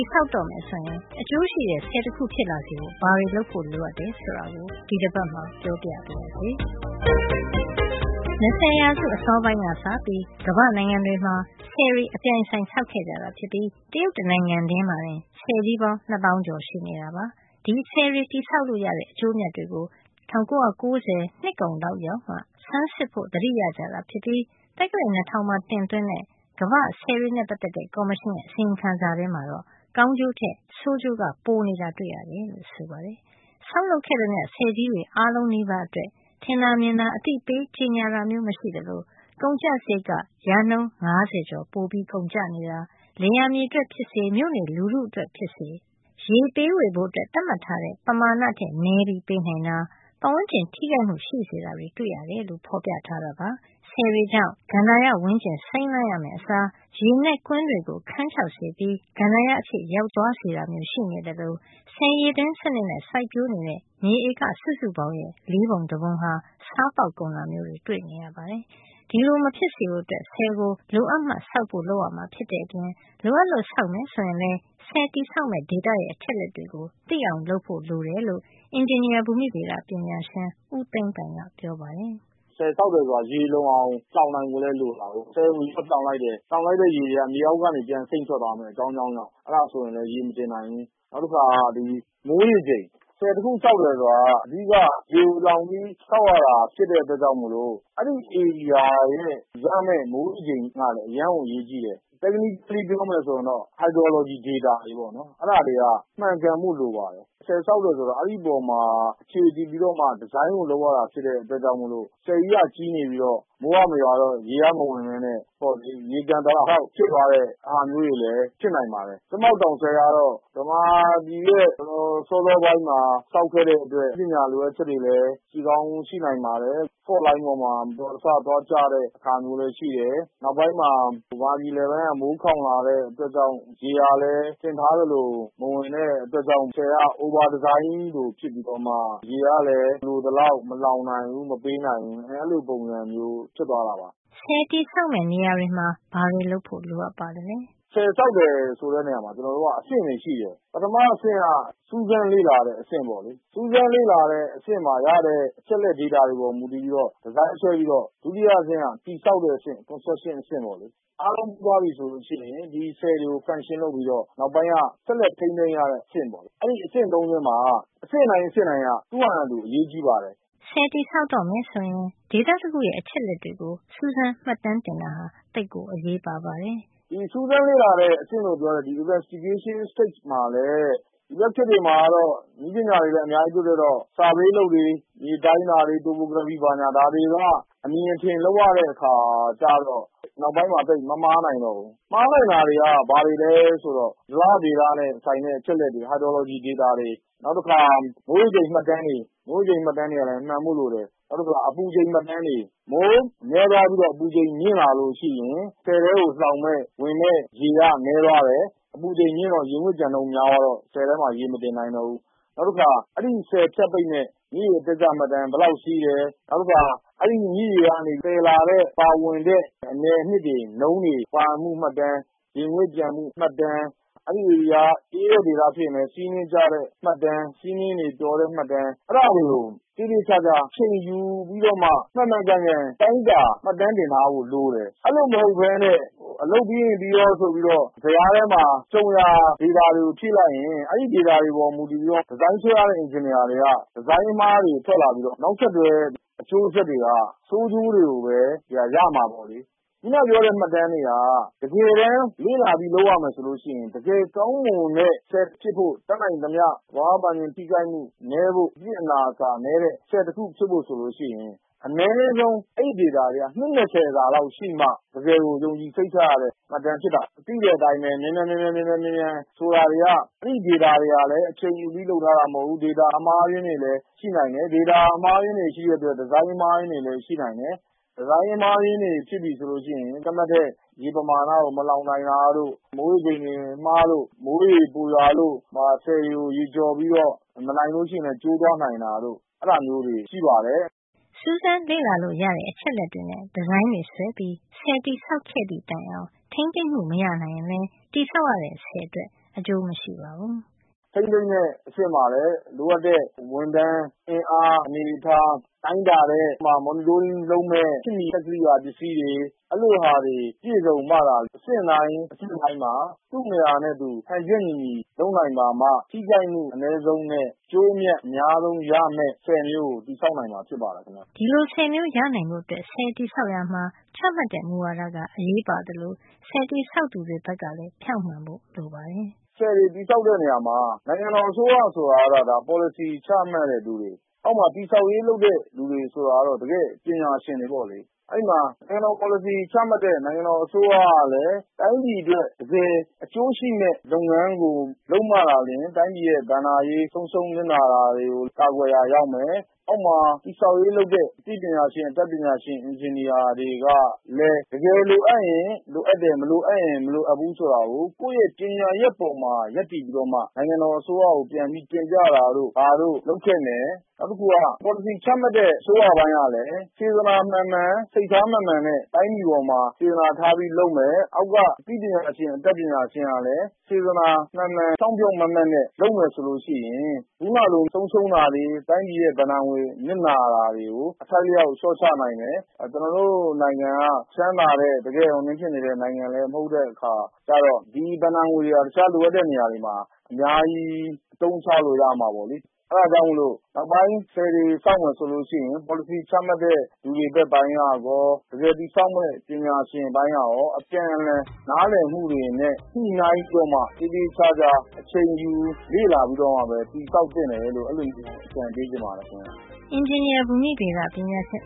်ဆောက်တော့မယ်ဆိုရင် အကျိုးရှိတဲ့ ဆည်တခုဖြစ်လာစေဖို့ ဘာတွေလုပ်ဖို့ လိုအပ်တယ်ဆိုတာကို ဒီတပတ်မှာ ပြောပြပါရစေ။ ၂၀ ရာစု အစောပိုင်းကစပြီး ကမ္ဘာ့နိုင်ငံတွေမှာ ဆည်တွေ အပြိုင်အဆိုင်ဆောက်ခဲ့တာ ဖြစ်ပြီး တရုတ်တနိုင်ငံထဲမှာတင် ဆည်ကြီးပေါင်း ၂ သောင်းကျော် ရှိနေတာပါ။ ဒီဆည်တွေတည်ဆောက်လို့ရတဲ့ အကျိုးအမြတ်တွေကို ၁၉၉၀ နှစ်ကုန်လောက်ရောက်မှ ဆန်းစစ်ဖို့ သတိရကြတာဖြစ်ပြီး သက္ကရာဇ် ၂၀၀၀ မှာတင်သွင်းတဲ့ ကမ္ဘာ့ဆည်တွေနဲ့ပတ်သက်တဲ့ ကော်မရှင်ရဲ့အစီရင်ခံစာထဲမှာတော့ ကောင်းကျိုးထက် ဆိုးကျိုးကပိုနေတာ တွေ့ရတယ်လို့ ဆိုပါတယ်။ ဆောက်လုပ်ခဲ့သမျှ ဆည်ကြီးအားလုံးနီးပါးအတွက် ထင်သာမြင်သာ အသိပေးကြေညာတာမျိုး မရှိသလို ကုန်ကျစရိတ်က % ၅၀ ကျော် ပိုကုန်တာ၊ လယ်ယာမြေအတွက် ဖြစ်စေ မြို့နေလူထုအတွက် ဖြစ်စေ ရေပေးဝေဖို့ သတ်မှတ်ထားတဲ့ ပမာဏထက် နည်းပြီးပေးနိုင်တာ၊ ပတ်ဝန်းကျင် ထိခိုက်မှု ရှိစေတာတွေ တွေ့ရတယ်လို့ ဖေါ်ပြထားတာပါ။ ဆည်တွေကြောင့် ကန္တာရဝန်းကျင် စိမ်းလန်းရမယ့်အစား ရေနက်ကွင်းတွေကို ခန်းခြောက်စေပြီး ကန္တာရ အဖြစ်ရောက်သွားစေတာမျိုး ရှိနေသလို ဆည်ရေသွင်း စံနစ်နဲ့ စိုက်ပျိုးနေတဲ့ မြေဧက စုစုပေါင်းရဲ့ လေးပုံတပုံဟာ ဆားပေါက်ကုန်တာမျိုးတွေ တွေ့နေရပါတယ်။ ဒီလိုမဖြစ်စေဖို့ ဆည်ကို လိုအပ်မှဆောက်ဖို့ လုပ်ရမှာဖြစ်တဲ့အပြင် လိုအပ်လို့ ဆောက်မယ်ဆိုရင်လည်း ဆည်ဆောက်မယ့် ဒေသရဲ့အချက်လက်တွေကို သိအောင် လုပ်ဖို့ လိုတယ်လို့ အင်ဂျင်နီယာ ဘူမိဗေဒ ပညာရှင် ဦးသိန်းပိုင်က ပြောပါတယ်။ “ဆည်ဆောက်တယ်ဆိုတာ ရေလုံအောင်လှောင်နိုင်ဖို့လည်း လိုတာကိုး။ ဆည်ကိုရေလှောင်လိုက်တယ်။ လှောင်လိုက်တဲ့ရေတွေက မြေအောက်ကနေ အကြောင်းကြောင်းကြောင့် ပြန်စိမ့်ထွက်သွားမယ်။ အဲဒါဆိုရင်လည်း ရေမတင်နိုင်ဘူး။ နောက်တခါ မိုးရေချိန်၊ ဆည်တခု ဆောက်တယ်ဆိုတာက အဓိက-က ရေကိုလှောင်ပြီး ဆောက်ရတာဖြစ်တဲ့အတွက်ကြောင့်မို့လို့ အဲဒီဧရိယာရဲ့ ရမယ့် မိုးရေချိန်ကလည်း အရမ်းကို အရေးကြီးတယ်။ technically ပြောမယ်ဆိုရင်တော့ hydrology data တွေ ပေါ့နော်၊ အဲဒါတွေက မှန်ကန်ဖို့လိုပါတယ်။” “ဆည်ဆောက်တယ်ဆိုတာ အဲဒီအပေါ်မှာ အခြေတည်ပြီးတော့မှ ဒီဇိုင်းကိုလုပ်ရတာဖြစ်တဲ့အတွက်ကြောင့်မို့လို့ ဆည်ကြီးကကြီးနေပြီးတော့ မိုးကမရွာရင် ရေမဝင်ဘဲနဲ့ ရေကျန်တာသာလောက် လှောင်ဖြစ်သွားတဲ့ ဟာမျိုးတွေလည်း ဖြစ်နိုင်ပါတယ်။ ကြက်မောက်တောင်ဆည်ကတော့ ဗမာပြည်ရဲ့တော်တော် စောစောပိုင်းမှာဆောက်ခဲ့တဲ့အတွက် နည်းပညာလိုအပ်ချက်တွေလည်း ရှိကောင်းရှိနိုင်ပါတယ်။ fault လိုင်းပေါ်မှာ မတော်တဆသွားကျတဲ့ဟာမျိုးလည်း ရှိတယ်။ နောက်ပိုင်းမှာ ဗမာပြည်အလယ်ပိုင်းက မိုးခေါင်လာတဲ့အတွက် ရေကလည်း ထင်ထားသလို မဝင်တဲ့အတွက်ကြောင့် ဆည်က over design လို ဖြစ်ပြီးတော့မှ ရေကလည်း လိုသလောက် မလှောင်နိုင်ဘူး၊ မပေးနိုင်ဘူး- အဲလိုပုံစံမျိုး ဖြစ်သွားတာပါ။” ဆည်တည်ဆောက်တဲ့ နေရာမှာ ဘာတွေ လုပ်ဖို့လိုအပ်ပါသလဲ။ “ဆည်ဆောက်တယ်ဆိုတဲ့နေရာမှာ ကျနော်တို့က အဆင့်သုံးဆင့်ရှိတယ်။ ပထမအဆင့်က စူးစမ်းလေ့လာတဲ့အဆင့်ပေါ့လေ။ စူးစမ်း လေ့လာတဲ့အဆင့်မှာရတဲ့ အချက်အလက် ဒေတာတွေအပေါ်မူတည်ပြီးတော့ ဒီဇိုင်းဆွဲပြီးတော့ ဒုတိယအဆင့်က တည်ဆောက်တဲ့အဆင့် Construction အဆင့်ပေါ့လေ။ အားလုံးပြီးသွားပြီဆိုလို့ရှိရင် ဒီဆည်တွေကို function လုပ်ပြီးတော့ ဆက်လက် ထိန်းသိမ်းရတဲ့အဆင့်ပေါ့။ အဲဒီအဆင့်သုံးဆင့်မှာ အဆင့်တိုင်းက သူ့ဟာနဲ့သူ အရေးကြီးပါတယ်။” ဆည်တည်ဆောက်တော့မယ်ဆိုရင် ဒေသတခုရဲ့ အချက်အလက်တွေကို စူးစမ်းမှတ်တမ်းတင်တာဟာ သိပ်ကို အရေးပါပါတယ်။ “စူးစမ်းလေ့လာတဲ့အဆင့်လို့ပြောတဲ့ investigation stage မှာလည်း ဒီဘက်ခေတ်မှာတော့ နည်းပညာတွေ အများကြီး တိုးတက်တော့ Survey အလုပ်တွေ၊ မြေတိုင်းတာတွေ၊ Topography မြေပြင်အနေထား -ဒါတွေက အမြင်အထင် လုပ်ရတဲ့ အခါကျတော့ နောက်ပိုင်းမှာ သိပ် မမှား နိုင်တော့ဘူး။ မှားနိုင်တာတွေက ဘာတွေလဲဆိုတော့ ဇလဗေဒနဲ့ဆိုင်တဲ့အချက်အလက်တွေ၊ hydrology data ဒေတာတွေ၊ နောက်တခါ မိုးရေချိန် မှတ်တမ်းတွေ၊ မိုးရေချိန်မှတ်တမ်းတွေကလည်း မှန်ဖို့လိုတယ်။ နောက်တခုက အပူချိန်မှတ်တမ်းတွေ၊ မိုးနည်းသွားပြီး အပူချိန် မြင့်လာလို့ရှိရင် ဆည်ထဲကို လှောင်မယ့်ဝင်မယ့်ရေက နည်းသွားတယ်။ အပူချိန်မြင့်တော့ ရေငွေ့ပျံနှုန်းများသွားတော့ ဆည်ထဲမှာ ရေမတင်နိုင်တော့ဘူး။ နောက်တခါ အဲဒီဆည် ဖြတ်ပိတ်မယ့် မြစ်ရေရဲ့ အတက်အကျမှတ်တမ်း၊ ဘယ်လောက်စီးတယ်၊ နောက်တခါ အဲဒီမြစ်ရေကသယ်လာတဲ့ ပါဝင်တဲ့အနယ်အနှစ်တွေ၊ နုန်းတွေ ပါဝင်မှုမှတ်တမ်း၊ ရေငွေ့ပျံမှုမှတ်တမ်း၊ အဲဒီဧရိယာက အေးတဲ့ဒေသဖြစ်ရင်လည်း ဆီးနှင်းကျတဲ့မှတ်တမ်း၊ ဆီးနှင်းတွေပျော်တဲ့မှတ်တမ်း၊ အဲဒါတွေကို သေသေချာချာ အချိန်ယူပြီးတော့မှ မှန်မှန်ကန်ကန် တိုင်းတာမှတ်တမ်းတင်ထားဖို့လိုတယ်။” “အဲလိုမဟုတ်ဘဲနဲ့ အလုပ်ပြီးရင်ပြီးရောဆိုပြီးတော့ ဇယားထဲမှာ ကြုံရာ ဒေတာတွေကို ဖြည့်လိုက်ရင် အဲဒီဒေတာတွေအပေါ်မှာမူတည်ပြီးတော့ ဒီဇိုင်း ဆွဲရတဲ့ အင်ဂျင်နီယာတွေက ဒီဇိုင်းအမှားတွေထွက်လာပြီးတော့ နောက်ဆက်တွဲ အကျိုးဆက်တွေက ဆိုးကျိုးတွေကိုပဲ ရမှာပေါ့လေ။ အခုနက ပြောတဲ့ မှတ်တမ်းတွေက တကယ်တန်းလေ့လာပြီး လုပ်ရမယ်ဆိုလို့ရှိရင် တကယ်ကောင်းမွန်တဲ့ဆည်ဖြစ်ဖို့၊ တတ်နိုင်သမျှ သဘာဝပတ်ဝန်းကျင်ထိခိုက်မှုနည်းဖို့၊ အပြစ်အနာအဆာနည်းတဲ့ ဆည်တခုဖြစ်ဖို့ ဆိုလို့ရှိရင် အနည်းဆုံးအဲဒီဒေတာတွေက နှစ် စာလောက်ရှိမှ တကယ်ကို ယုံကြည်စိတ်ချရတဲ့ မှတ်တမ်း ဖြစ်တာ။ သိတဲ့အတိုင်းပဲ မြန်မြန်…မြန်မြန်..မြန်မြန်ဆိုတာတွေက အဲဒီဒေတာတွေကလည်း အချိန်ယူပြီးလုပ်ထားတာမဟုတ်ဘူး။ အမှားအယွင်းတွေလည်း ရှိတယ်။ ဒေတာအမှားအယွင်းတွေရှိတဲ့အတွက် ဒီဇိုင်းအမှားအယွင်းတွေလည်း ရှိနိုင်တယ်။ ဒီဇိုင်းအမှားအယွင်းတွေ ဖြစ်ပြီဆိုလို့ရှိရင် သတ်မှတ်တဲ့ ရေ ပမာဏကို မလှောင်နိုင်တာတို့၊ မိုးရေချိန်အမှားတို့၊ မိုးတွေပိုရွာလို့ ဆည်တွေကိုရေကျော်ပြီးတော့ မနိုင်လို့ရှိရင်လည်း ကျိုးသွားနိုင်တာတို့ - အဲဒါမျိုးတွေ ရှိပါတယ်။” စူးစမ်းလေ့လာလို့ ရတဲ့ အချက်အလက်တွေနဲ့ ဒီဇိုင်းဆွဲပြီး ဆည်တည်ဆောက်ခဲ့သည့်တိုင် ထိမ်းသိမ်းမှုမနိုင်ရင်လည်း တည်ဆောက်ရတဲ့ ဆည်အတွက် အကျိုးမရှိပါဘူး။ “ထိန်းသိမ်းတဲ့အဆင့်မှာလည်း လိုအပ်တဲ့ ဝန်ထမ်းအင်အားအနေအထား၊ တိုင်းတာတဲ့ monitoring - လုပ်မယ့် စောင့်ကြည့်မယ့် ခေတ်မီစက်ကိရိယာတွေ၊ အဲလိုဟာတွေ ပြည့်စုံမှသာ အဆင့်တိုင်းမှာ သူ့နေရာနဲ့သူ ဟန်ချက်ညီညီလုပ်နိုင်ပါမှ ထိခိုက်မှုအနည်းဆုံးနဲ့ အကျိုးအမြတ် အများဆုံးရမယ့် ဆည်မျိုးကို တည်ဆောက်နိုင်မှာဖြစ်ပါတယ်ခင်ဗျ။” ဒီလိုဆည်မျိုး ရနိုင်ဖို့အတွက် ဆည်တည်ဆောက်ရာမှာ ချမှတ်တဲ့မူဝါဒက အရေးပါသလို တည်ဆောက်သူတွေ ဘက်ကလည်း ဖြောင့်မှန်ဖို့ လိုပါတယ်။ “ဆည်တွေတည်ဆောက်တဲ့နေရာမှာ နိုင်ငံတော်အစိုးရဆိုတာကတော့ ဒါ ပေါ်လစီချမှတ်ရတဲ့လူတွေ၊ အောက်မှာ တည်ဆောက်ရေး လုပ်တဲ့ လူတွေဆိုတာကတော့ တကယ့်ပညာရှင်တွေပေါ့လေ။ အဲဒီမှာ ပေါ်လစီချမှတ်တဲ့ နိုင်ငံတော်အစိုးရကလည်း တိုင်းပြည်အတွက် တကယ် အကျိုးရှိမယ့်လုပ်ငန်းကိုလုပ်မှသာလျှင် တိုင်းပြည်ရဲ့ဘဏ္ဍာရေး ဆုံးရှုံးနစ်နာတာတွေကို ကာကွယ်ရာရောက်မယ်။ အောက်မှာ တည်ဆောက်ရေးလုပ်တဲ့ အသိပညာရှင်၊ အတတ်ပညာရှင် အင်ဂျင်နီယာတွေကလည်း တကယ်လိုအပ်ရင်လိုအပ်တယ်၊ မလိုအပ်ရင် မလိုအပ်ဘူးဆိုတာကို ကိုယ့်ရဲ့ပညာရပ်ပေါ်မှာ ရပ်တည်ပြီးတော့မှ နိုင်ငံတော်အစိုးရကို ပြန်ပြီးတင်ပြတာတို့၊ ဘာတို့လုပ်သင့် တယ်။” “နောက်တခုက ပေါ်လစီချမှတ်တဲ့အစိုးရပိုင်းကလည်း စေတနာမှန်မှန် စိတ်ထားမှန်မှန်နဲ့ တိုင်းပြည်အပေါ်မှာ စေတနာထားပြီးလုပ်မယ်၊ အောက်က အသိ ပညာရှင်၊ အတတ်ပညာရှင်တွေကလည်း စေတနာမှန်မှန် ဖြောင့်ဖြောင့်မတ်မတ်နဲ့ လုပ်မယ်ဆိုလို့ရှိရင် အခုနကလို ဆုံးရှုံး တာတွေ၊ တိုင်းပြည်ရဲ့ဘဏ္ဍငွေ နစ်နာရတာတွေကို အထိုက်အလျှောက် လျှော့ချနိုင်မယ်။ ကျနော်တို့ နိုင်ငံက ချမ်းသာတဲ့နိုင်ငံလည်း မဟုတ်တဲ့အခါကျတော့ ဒီဘဏ္ဍာငွေတွေဟာ တခြား လိုအပ်တဲ့နေရာတွေမှာ အများကြီးအသုံးချလို့ရမှာပေါ့လေ။ အဲဒါကြောင့်မို့လို့ နောက်ပိုင်း ဆည်တွေဆောက်မယ်ဆိုလို့ရှိရင် ပေါ်လစီချမှတ်တဲ့ လူတွေ ဘက်ပိုင်းကရော တကယ်တည်ဆောက်မယ့် ပညာရှင်တွေအပိုင်းကရော အပြန်အလှန်နားလည်မှုတွေနဲ့ ညှိနှိုင်းပြီးတော့မှ သေသေချာချာ အချိန်ယူ လေ့လာပြီးတော့မှပဲ တည်ဆောက်သင့်တယ်လို့ အဲလို အကြံပေးချင်ပါတယ်။” အင်ဂျင်နီယာ ဘူမိဗေဒပညာရှင်